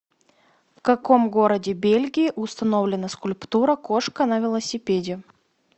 в каком городе бельгии установлена скульптура кошка на велосипеде